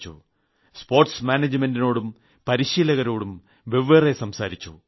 sports മാനേജ്മെന്റിനോടും പരീശീലകരോടും വെവ്വേറെ സംവദിച്ചു